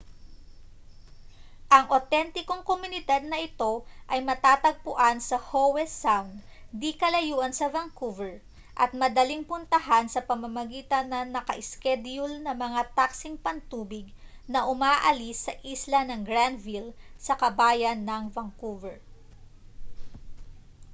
ang awtentikong komunidad na ito ay matatagpuan sa howe sound di-kalayuan sa vancouver at madaling puntahan sa pamamagitan ng naka-iskedyul na mga taksing pantubig na umaalis sa isla ng granville sa kabayanan ng vancouver